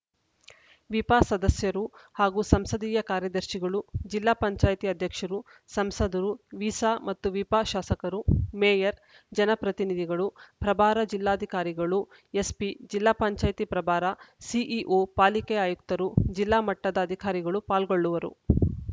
ವಿಪ ಸದಸ್ಯರು ಹಾಗೂ ಸಂಸದೀಯ ಕಾರ್ಯದರ್ಶಿಗಳು ಜಿಲ್ಲಾ ಪಂಚಾಯತ್ ಅಧ್ಯಕ್ಷರು ಸಂಸದರು ವಿಸ ಮತ್ತು ವಿಪ ಶಾಸಕರು ಮೇಯರ್‌ ಜನಪ್ರತಿನಿಧಿಗಳು ಪ್ರಭಾರ ಜಿಲ್ಲಾಧಿಕಾರಿಗಳು ಎಸ್‌ಪಿ ಜಿಲ್ಲಾ ಪಂಚಾಯತ್ ಪ್ರಭಾರ ಸಿಇಒ ಪಾಲಿಕೆ ಆಯುಕ್ತರು ಜಿಲ್ಲಾ ಮಟ್ಟದ ಅಧಿಕಾರಿಗಳು ಪಾಲ್ಗೊಳ್ಳುವರು